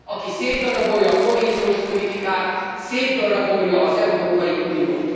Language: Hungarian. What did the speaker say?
Aki szétdarabolja a kohéziós politikát, szétdarabolja az Európai Uniót.